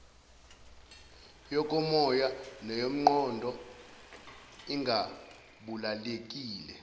yokomoya neyomqondo ingabalulekile